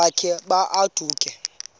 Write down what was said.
wakhe ma baoduke